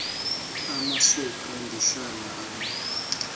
amasuka ndihlala ale